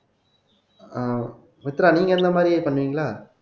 ஆஹ் மித்ரா நீங்க இந்த மாதிரி பண்ணுவீங்களா